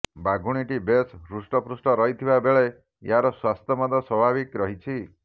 ବାଘୁଣୀଟି ବେଶ୍ ହୃଷ୍ଟପୃଷ୍ଟ ରହିଥିବା ବେଳେ ଏହାର ସ୍ୱାସ୍ଥ୍ୟ ମଧ୍ୟ ସ୍ୱାଭାବିକ ରହିଛି